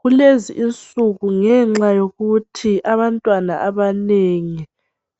Kulezinsuku ngenxa yokuthi abantwana abanengi